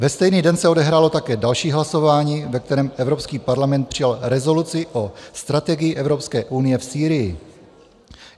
Ve stejný den se odehrálo také další hlasování, ve kterém Evropský parlament přijal rezoluci o strategii Evropské unie v Sýrii.